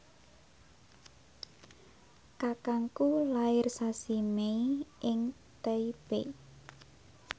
kakangku lair sasi Mei ing Taipei